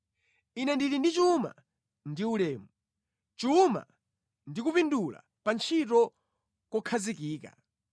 Ine ndili ndi chuma ndi ulemu, chuma ndi kupindula pa ntchito kokhazikika.